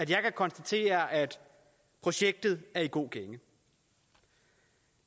jeg kan konstatere at projektet er i god gænge